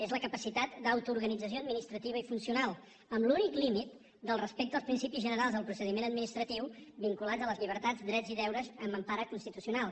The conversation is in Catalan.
és la capacitat d’autoorganització administrativa i funcional amb l’únic límit del respecte als principis generals del procediment vinculats a les llibertats drets i deures amb empara constitucional